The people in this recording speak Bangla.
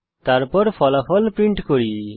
তারপর ফলাফল প্রিন্ট করি